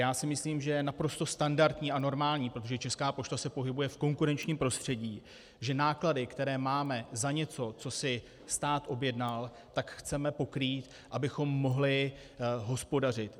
Já si myslím, že je naprosto standardní a normální, protože Česká pošta se pohybuje v konkurenčním prostředí, že náklady, které máme za něco, co si stát objednal, tak chceme pokrýt, abychom mohli hospodařit.